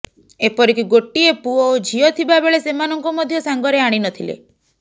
ଏପରିକି ଗୋଟିଏ ପୁଅ ଓ ଝିଅ ଥିବାବେଳେ ସେମାନଙ୍କୁ ମଧ୍ୟ ସାଙ୍ଗରେ ଆଣିନଥିଲେ